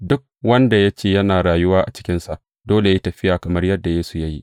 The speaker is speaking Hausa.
Duk wanda ya ce yana rayuwa a cikinsa dole yă yi tafiya kamar yadda Yesu ya yi.